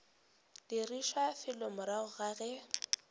dirišwa fela morago ga ge